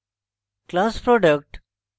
class product